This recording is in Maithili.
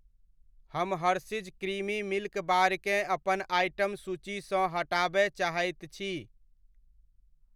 हम हर्शीज़ क्रिमी मिल्क बार केँ अपन आइटम सूचीसँ हटाबय चाहैत छी।